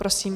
Prosím.